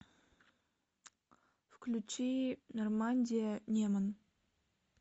включи нормандия неман